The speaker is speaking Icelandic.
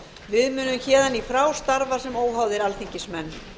við munum héðan í frá starfa sem óháðir alþingismenn